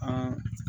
An